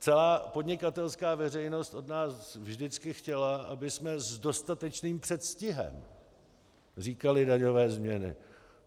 Celá podnikatelská veřejnost od nás vždycky chtěla, abychom s dostatečným předstihem říkali daňové změny.